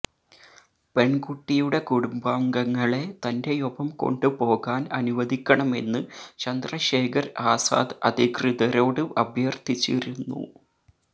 പെണ്കുട്ടിയുടെ കുടുംബാംഗങ്ങളെ തന്റെയൊപ്പം കൊണ്ടുപോകാന് അനുവദിക്കണമെന്ന് ചന്ദ്രശേഖര് ആസാദ് അധികൃതരോട് അഭ്യര്ഥിച്ചിരുന്നു